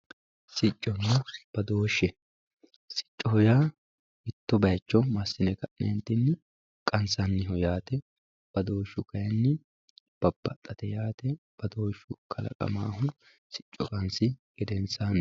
Sicco badooshe, sicco yaa mito bayiicho masine ka'nentinni qanisanniho yaate, bafooshu kayinni babaxatte yaate bafooshu kalaqamahu kayini sicco qanisihu gedensaniti